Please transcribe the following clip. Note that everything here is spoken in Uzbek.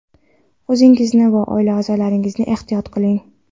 O‘zingizni va oila aʼzolaringizni ehtiyot qiling.